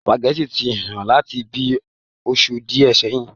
Sùpàgẹ́tì ti hán láti bíi oṣù díè sẹyìn.